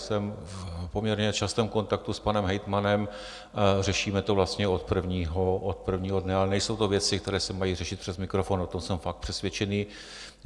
Jsem v poměrně častém kontaktu s panem hejtmanem, řešíme to vlastně od prvního dne, ale nejsou to věci, které se mají řešit přes mikrofon, o tom jsem fakt přesvědčený.